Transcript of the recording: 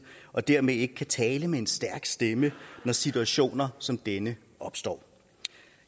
og dermed ikke kan tale med en stærk stemme når situationer som denne opstår